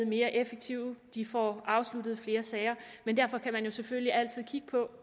mere effektive og de får afsluttet flere sager men derfor kan man selvfølgelig altid kigge på